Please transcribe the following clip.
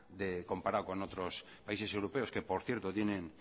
comparado con otros países europeos que por cierto tienen